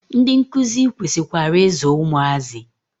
Ndị nkuzi kwesikwara i zụ ụmụazị.